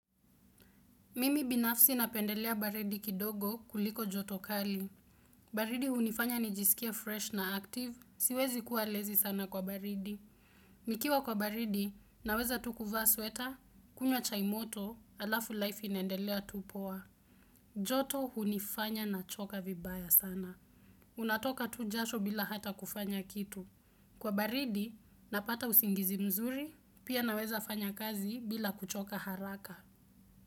Mimi binafsi napendelea baridi kidogo kuliko joto kali. Baridi hunifanya nijisikie fresh na active, siwezi kuwa lazy sana kwa baridi. Nikiwa kwa baridi, naweza tu kuvaa sweater, kunywa chai moto, alafu life inendelea tu poa. Joto hunifanya nachoka vibaya sana. Unatoka tu jasho bila hata kufanya kitu. Kwa baridi, napata usingizi mzuri, pia naweza fanya kazi bila kuchoka haraka.